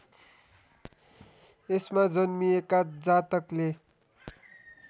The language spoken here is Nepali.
यसमा जन्मिएका जातकले